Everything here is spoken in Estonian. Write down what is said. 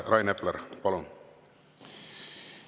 Rain Epler, palun!